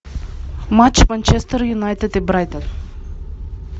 матч манчестер юнайтед и брайтон